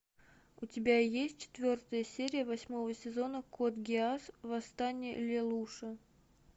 у тебя есть четвертая серия восьмого сезона код гиас восстание лелуша